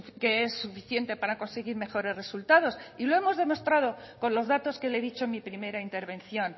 que es suficiente para conseguir mejores resultados y lo hemos demostrado con los datos que le he dicho en mi primera intervención